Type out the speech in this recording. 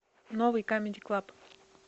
новый камеди клаб